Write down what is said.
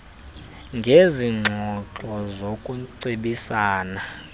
ngezi ngxoxo zokucebisana